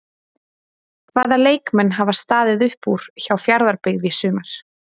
Hvaða leikmenn hafa staðið upp úr hjá Fjarðabyggð í sumar?